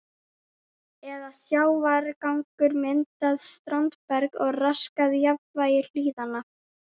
eða sjávargangur myndað standberg og raskað jafnvægi hlíðanna.